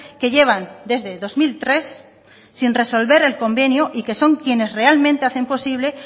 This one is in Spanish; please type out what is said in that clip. que llevan desde dos mil tres sin resolver el convenio y que son quienes realmente hacen posible